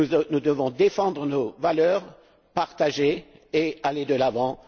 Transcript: Nous devons défendre nos valeurs partagées et aller de l'avant.